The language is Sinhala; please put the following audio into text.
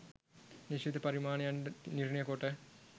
නිශ්චිත පරිමාණයන් නිර්ණය කොට